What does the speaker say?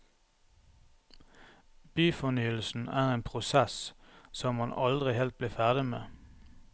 Byfornyelsen er en prosess som man aldri helt blir ferdig med.